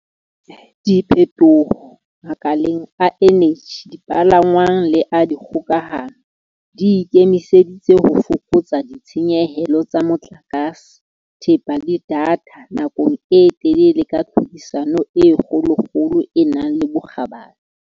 Diphethoho makaleng a eneji, dipalangwang le a dikgokahano di ikemiseditse ho fokotsa ditshenyehelo tsa motlakase, thepa le datha nakong e telele ka tlhodisano e kgolokgolo e nang le bokgabane.